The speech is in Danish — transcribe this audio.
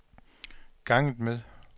ganget med